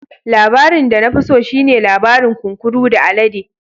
Labarin da na fi so shi ne labarin kunkuru da alade.